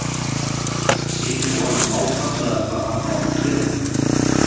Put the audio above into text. Sýnir honum nákvæmlega hvað hann á að gera.